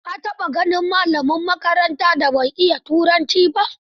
Ka taɓa ganin malamin makarantar da bai iya turanci ba?